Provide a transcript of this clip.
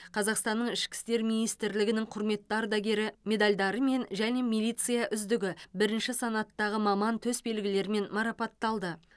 қазақстанның ішкі істер министрлігінің құрметті ардагері медальдарымен және милиция үздігі бірінші санаттағы маман төсбелгілерімен марапатталды